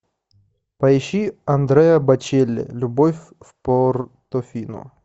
поищи андреа бочелли любовь в портофино